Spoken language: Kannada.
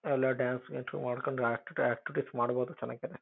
ಎಲ್ಲ ಡಾನ್ಸ್ ಗೀನ್ಸ್ ಮಾಡ್ಕೊಂಡು ಆಕ್ಟ್ ಆಕ್ಟಿವಿಟೀಸ್ ಮಾಡಬೋದು ಚನ್ನಾಗಿನೆ.